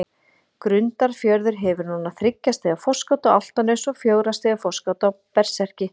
Grundarfjörður hefur núna þriggja stiga forskot á Álftanes og fjögurra stiga forskot á Berserki.